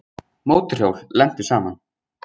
Mótorhjól lentu saman